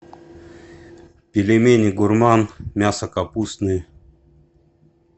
пельмени гурман мясо капустные